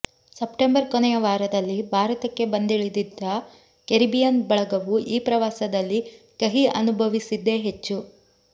September ಕೊನೆಯ ವಾರದಲ್ಲಿ ಭಾರತಕ್ಕೆ ಬಂದಿಳಿದಿದ್ದ ಕೆರಿಬಿಯನ್ ಬಳಗವು ಈ ಪ್ರವಾಸದಲ್ಲಿ ಕಹಿ ಅನುಭವಿಸಿದ್ದೇ ಹೆಚ್ಚು